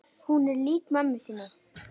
Hún er lík mömmu sinni.